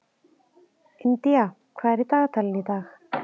Indía, hvað er í dagatalinu í dag?